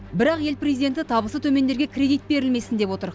бірақ ел президенті табысы төмендерге кредит берілмесін деп отыр